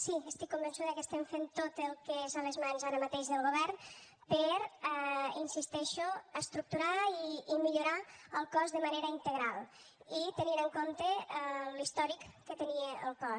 sí estic convençuda que estem fent tot el que és a les mans ara mateix del govern per hi insisteixo estructurar i millorar el cos de manera integral i tenint en compte l’històric que tenia el cos